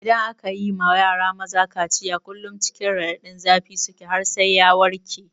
Idan aka yi ma yara maza kaciya kullum cikin raɗadin zafi suke har sai ya warke.